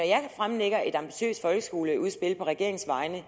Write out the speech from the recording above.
jeg fremlægger et ambitiøst folkeskoleudspil på regeringens vegne